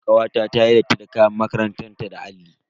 Kawata tayi datti da kayan makarantan ta da alli.